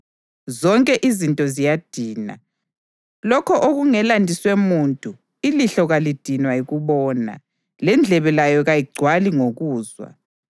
Zonke izinto ziyadina, lokho okungelandiswe muntu. Ilihlo kalidinwa yikubona, lendlebe layo kayigcwali ngokuzwa.